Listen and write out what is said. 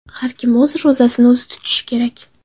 Har kim o‘z ro‘zasini o‘zi tutishi kerak.